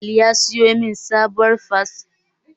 Ali ya siyo min sabuwar spatula don aikin tukwane na